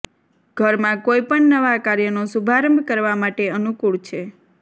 ઘરમાં કોઇપણ નવા કાર્યનો શુભારંભ કરવા માટે અનુકૂળ છે